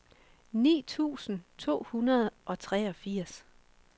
ni tusind to hundrede og treogfirs